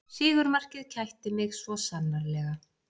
Sigurmarkið kætti mig svo sannarlega